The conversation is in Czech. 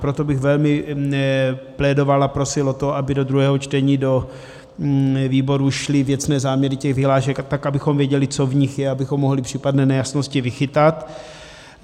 Proto bych velmi plédoval a prosil o to, aby do druhého čtení do výboru šly věcné záměry těch vyhlášek, tak abychom věděli, co v nich je, abychom mohli případné nejasnosti vychytat.